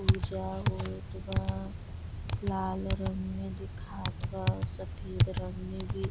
पूजा होत बा। लाल रंग में दिखात बा सफ़ेद रंग में भी --